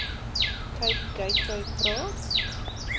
cape gateway praat